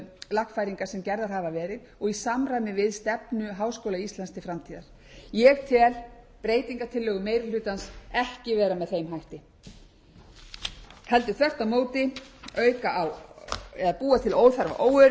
gerðar hafa verið og í samræmi við stefnu háskóla íslands til framtíðar ég tel breytingartillögur meiri hlutans ekki vera með þeim hætti heldur þvert á móti auka á eða búa til óþarfa